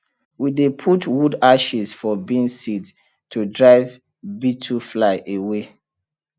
we dey put wood ashes for beans seed to drive beetlefly away